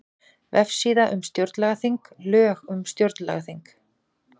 Vefsíða um stjórnlagaþing Lög um stjórnlagaþing